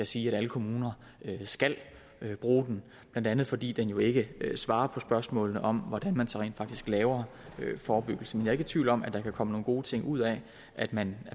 siger at alle kommuner skal bruge den blandt andet fordi den jo ikke svarer på spørgsmålet om hvordan man så rent faktisk laver forebyggelsen jeg i tvivl om at der kan komme nogle gode ting ud af at man